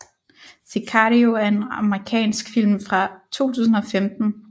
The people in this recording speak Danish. Sicario er en amerikansk film fra 2015